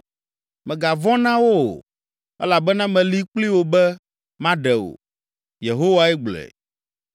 Mègavɔ̃ na wo o, elabena meli kpli wò be maɖe wò.” Yehowae gblɔe.